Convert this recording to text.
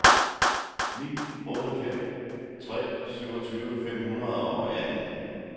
ni otte fem tre syvogtyve fem hundrede og atten